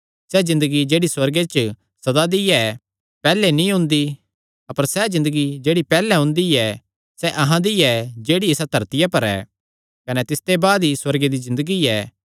सैह़ ज़िन्दगी जेह्ड़ी सुअर्गे च सदा दी ऐ पैहल्ले नीं ओंदी अपर सैह़ ज़िन्दगी जेह्ड़ी पैहल्ले ओंदी ऐ सैह़ अहां दी ऐ जेह्ड़ी इसा धरतिया पर ऐ कने तिसते बाद ई सुअर्गे दी ज़िन्दगी ऐ